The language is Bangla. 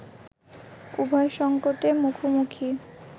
উভয় সংকটের মুখোমুখি